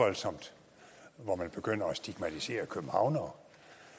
voldsomt når man begynder at stigmatisere københavnere